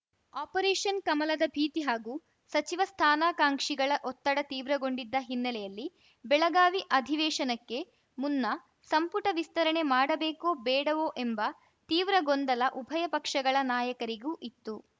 operation ಕಮಲದ ಭೀತಿ ಹಾಗೂ ಸಚಿವ ಸ್ಥಾನಾಕಾಂಕ್ಷಿಗಳ ಒತ್ತಡ ತೀವ್ರಗೊಂಡಿದ್ದ ಹಿನ್ನೆಲೆಯಲ್ಲಿ ಬೆಳಗಾವಿ ಅಧಿವೇಶನಕ್ಕೆ ಮುನ್ನ ಸಂಪುಟ ವಿಸ್ತರಣೆ ಮಾಡಬೇಕೋ ಬೇಡವೋ ಎಂಬ ತೀವ್ರ ಗೊಂದಲ ಉಭಯ ಪಕ್ಷಗಳ ನಾಯಕರಿಗೂ ಇತ್ತು